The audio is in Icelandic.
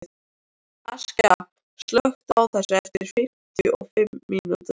Askja, slökktu á þessu eftir fimmtíu og fimm mínútur.